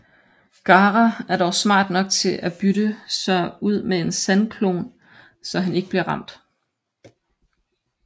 Gaara er dog smart nok til at bytte sig ud med en sandklon så han ikke bliver ramt